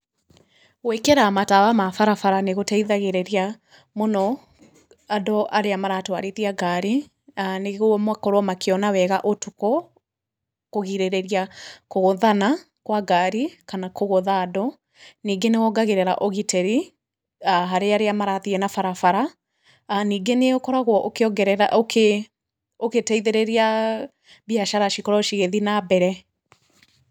Gwĩkĩra matawa ma barabara nĩgũteithagĩrĩria mũno andũ arĩa maratwarithia ngari, nĩguo makorwo makĩona wega ũtukũ, kũgirĩrĩria kũgũthana kwa ngari kana kũgũtha andũ. Ningĩ nĩwongagĩrĩra ũgitĩri harĩ arĩa marathiĩ na barabara. Ningĩ nĩũkoragwo ũkĩongerera, ũgĩteithĩrĩria biacara cikorwo cigĩthiĩ na mbere.